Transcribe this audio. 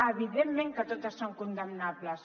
evidentment que totes són condemnables